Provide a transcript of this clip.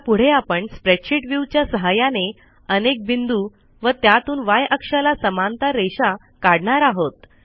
आता पुढे आपण स्प्रेडशीट viewच्या सहाय्याने अनेक बिंदू व त्यातून य अक्षाला समांतर रेषा काढणार आहोत